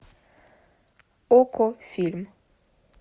окко фильм